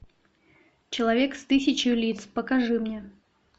человек с тысячью лиц покажи мне